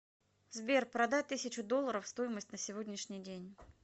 сбер продать тысячу долларов стоимость на сегодняшний день